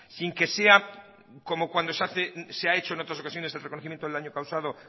sin que sea como cuando se ha hecho en otras ocasiones el reconocimiento del daño causado